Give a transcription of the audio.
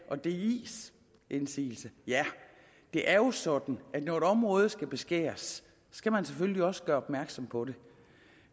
og dis indsigelse det er jo sådan at når et område skal beskæres skal man selvfølgelig også gøre opmærksom på det